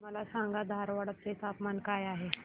मला सांगा धारवाड चे तापमान काय आहे